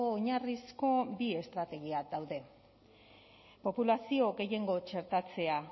oinarrizko bi estrategia daude populazio gehiengo txertatzea